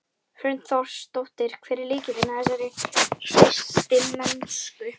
Hrund Þórsdóttir: Hver er lykillinn að þessari hreystimennsku?